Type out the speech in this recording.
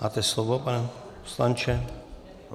Máte slovo, pane poslanče.